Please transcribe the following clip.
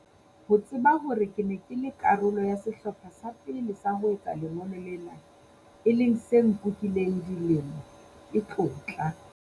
Ho tseba hore ke ne ke le karolo ya sehlopha sa pele sa ho etsa lengolo lena, e leng se nkukileng dilemo, ke tlotla.